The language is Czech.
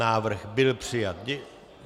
Návrh byl přijat.